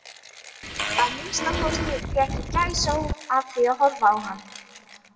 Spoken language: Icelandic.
Að minnsta kosti fékk ég gæsahúð af því að horfa á hann.